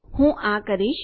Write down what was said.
હું આ કરીશ